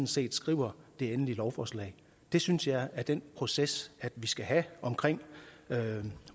set skriver det endelige lovforslag det synes jeg er den proces vi skal have omkring